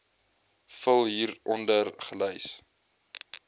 vul hieronder gelys